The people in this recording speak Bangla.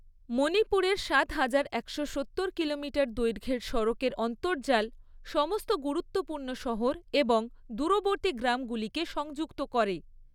মণিপুরের সাত হাজার একশো সত্তর কিলোমিটার দৈর্ঘ্যের সড়কের অন্তর্জাল সমস্ত গুরুত্বপূর্ণ শহর এবং দূরবর্তী গ্রামগুলিকে সংযুক্ত করে৷